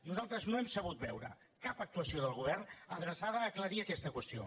nosaltres no hem sabut veure cap actuació del govern adreçada a aclarir aquesta qüestió